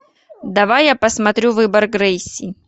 давай я посмотрю выбор грейси